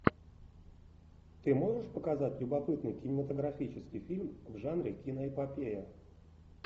ты можешь показать любопытный кинематографический фильм в жанре киноэпопея